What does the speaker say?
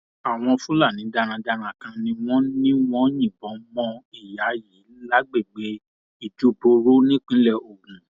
àwọn fúlàní darandaran kan ni wọn ní wọn yìnbọn mọ ìyá yìí lágbègbè ìjẹbúòru nípínlẹ ogun